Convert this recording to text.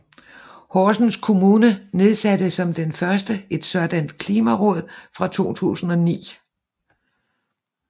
Horsens kommune nedsatte som den første et sådant klimaråd i 2009